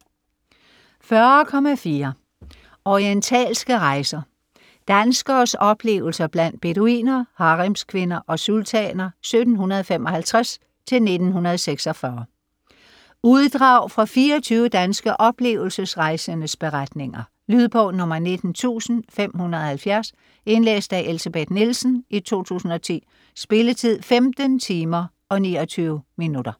40.4 Orientalske rejser: danskeres oplevelser blandt beduiner, haremskvinder og sultaner 1755-1946 Uddrag fra 24 danske oplevelsesrejsendes beretninger. Lydbog 19570 Indlæst af Elsebeth Nielsen, 2010. Spilletid: 15 timer, 29 minutter.